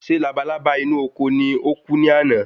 ṣé labalábá inú oko ní oku ni àná?